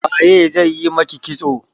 Waye zai yi maki kitso?